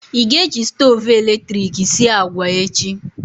Ị ga-eji stoovu eletrik sie agwa echi?